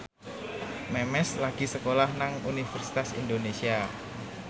Memes lagi sekolah nang Universitas Indonesia